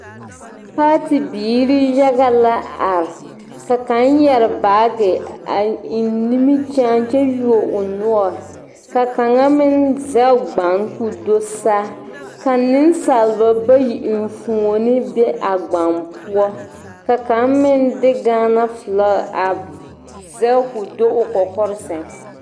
Paati biiri yaga la a are ka kaŋ yɛre baage a eŋ nimikyaane kyɛ yuo o noɔre ka kaŋa meŋ zɛge gbaŋ k,o do saa ka nensaalba bayi enfuoni be a gbaŋ poɔ ka kaŋ meŋ de Gaana filagi a zɛge k,o do o kɔkɔre seŋ.